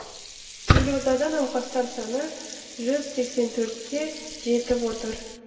елордада науқастар саны жүз сексен төртке жетіп отыр